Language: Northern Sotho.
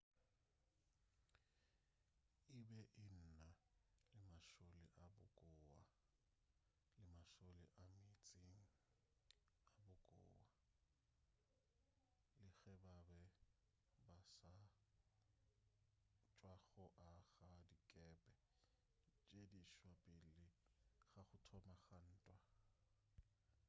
e be e na le mašole a bokowa le mašole a meetseng a bokowa le ge ba be ba sa tšwa go aga dikepe tše diswa pele ga go thoma ga ntwa